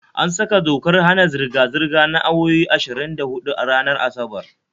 An saka dokar hana zirga-zirga na awowi ashirin da huɗu ranar Asabar